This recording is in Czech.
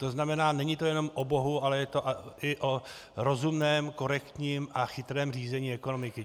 To znamená, není to jenom o bohu, ale je to i o rozumném, korektním a chytrém řízení ekonomiky.